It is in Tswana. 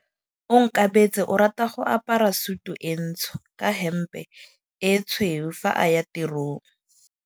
Onkabetse o rata go apara sutu e ntsho ka hempe e tshweu fa a ya tirong.